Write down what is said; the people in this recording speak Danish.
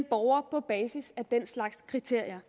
borgere på basis af den slags kriterier